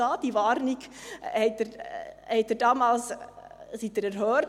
Mit dieser Warnung wurden Sie damals erhört.